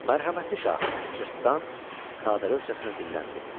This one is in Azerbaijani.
Mərhəmətli şah, cırtdan sadəlövhcəsinə dilləndi.